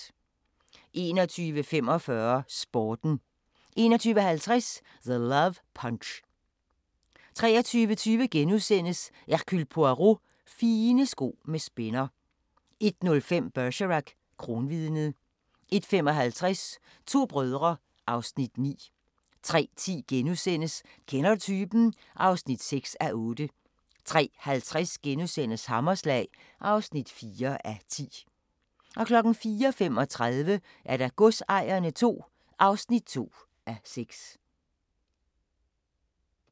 21:45: Sporten 21:50: The Love Punch 23:20: Hercule Poirot: Fine sko med spænder * 01:05: Bergerac: Kronvidnet 01:55: To brødre (Afs. 9) 03:10: Kender du typen? (6:8)* 03:50: Hammerslag (4:10)* 04:35: Godsejerne II (2:6)